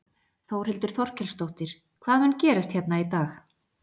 Þórhildur Þorkelsdóttir: Hvað mun gerast hérna í dag?